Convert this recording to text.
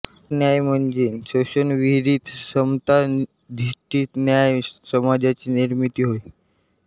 सामाजिक न्याय म्हणजे शोषणविरहीत समताधिष्ठित न्याय्य समाजाची निर्मिती होय